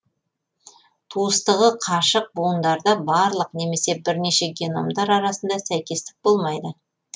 туыстығы қашық буындарда барлық немесе бірнеше геномдар арасында сәйкестік болмайды